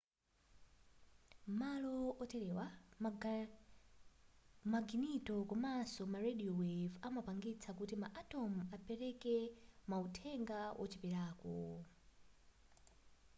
m'malo oterewa maginito komanso ma radio wave amapangitsa kuti ma atom apereke mauthenga wocheperako